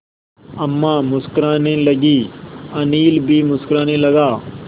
अम्मा मुस्कराने लगीं अनिल भी मुस्कराने लगा